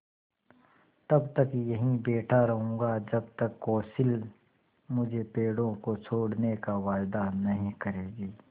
तब तक यहीं बैठा रहूँगा जब तक कौंसिल मुझे पेड़ों को छोड़ने का वायदा नहीं करेगी